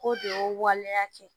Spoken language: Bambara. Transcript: K'o de y'o waleya kɛ